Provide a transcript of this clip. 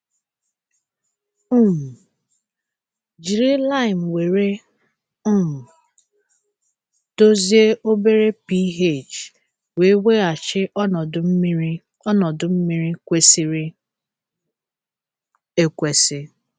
um Jiri laịmụ were um dozie obere pH wee weghachi ọnọdụ mmiri ọnọdụ mmiri kwesịrị ekwesị.